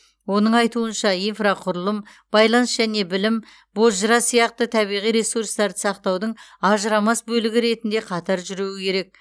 оның айтуынша инфрақұрылым байланыс және білім бозжыра сияқты табиғи ресурстарды сақтаудың ажырамас бөлігі ретінде қатар жүруі керек